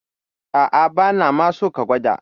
A'a, bana ma so ka gwada.